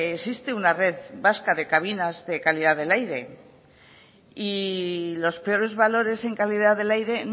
existe una red vasca de cabinas de calidad del aire y los peores valores en calidad del aire